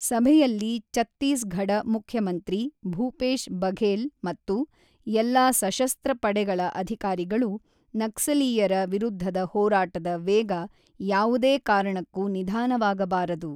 ಸಭೆಯಲ್ಲಿ ಚತ್ತೀಸ್ ಘಡ ಮುಖ್ಯಮಂತ್ರಿ ಭೂಪೇಶ್ ಬಘೇಲ್ ಮತ್ತು ಎಲ್ಲಾ ಸಶಸ್ತ್ರ ಪಡೆಗಳ ಅಧಿಕಾರಿಗಳು ನಕ್ಸಲೀಯರ ವಿರುದ್ಧದ ಹೋರಾಟದ ವೇಗ ಯಾವುದೇ ಕಾರಣಕ್ಕೂ ನಿಧಾನವಾಗಬಾರದು.